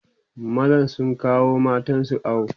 mazan sun kawo matansu awo